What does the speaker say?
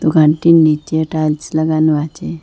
দোকানটির নীচে টাইলস লাগানো আচে।